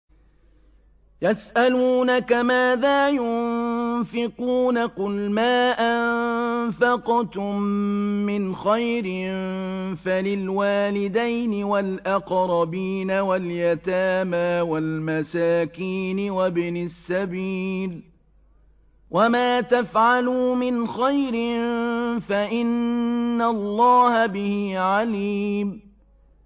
يَسْأَلُونَكَ مَاذَا يُنفِقُونَ ۖ قُلْ مَا أَنفَقْتُم مِّنْ خَيْرٍ فَلِلْوَالِدَيْنِ وَالْأَقْرَبِينَ وَالْيَتَامَىٰ وَالْمَسَاكِينِ وَابْنِ السَّبِيلِ ۗ وَمَا تَفْعَلُوا مِنْ خَيْرٍ فَإِنَّ اللَّهَ بِهِ عَلِيمٌ